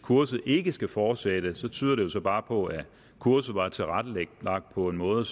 kurset ikke skal fortsætte tyder det bare på at kurset var tilrettelagt på en måde